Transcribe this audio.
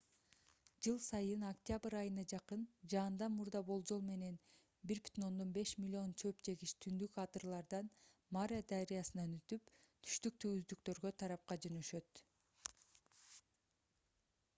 жыл сайын октябрь айына жакын жаандан мурда болжол менен 1,5 млн чөп жегич түндүк адырлардан мара дарыясынан өтүп түштүк түздүктөрү тарапка жөнөшөт